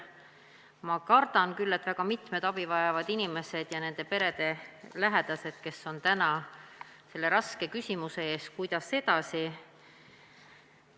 Ma kardan küll, et väga mitmed abi vajavad inimesed ja nende perede lähedased on praegu selle raske küsimuse ees, kuidas edasi.